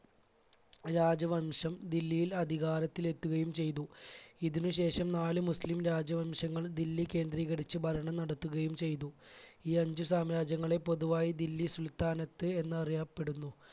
രാജവംശം ദില്ലിയിൽ അധികാരത്തിൽ എത്തുകയും ചെയ്തു. ഇതിന് ശേഷം നാല് മുസ്ലിം രാജവംശങ്ങൾ ദില്ലി കേന്ദ്രീകരിച്ച് ഭരണം നടത്തുകയും ചെയ്തു. ഈ അഞ്ച് സാമ്രാജ്യങ്ങളെ പൊതുവായി ദില്ലി സുൽത്താനത്ത് എന്നറിയപ്പെടുന്നു.